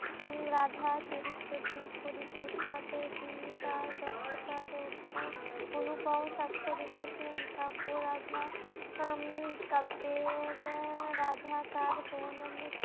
উম রাধা চরিত্রটির পরিকল্পনাতেই তিনি তার দক্ষতার ওপর অণুপর সাক্ষ্য রেখেছেন কাব্য রাধা উম কাব্যের রাধা তার